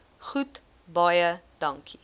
goed baie dankie